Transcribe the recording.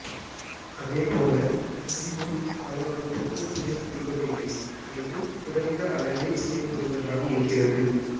அதே போல கிம்ப்பும் பலவற்றுக்கு துணைபுரிவதில்லை அல்லது குறைந்த அளவே துணைபுரிவதாக இருக்கிறது